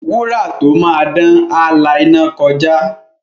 Wúrà tó máa dán, á la iná kọjá.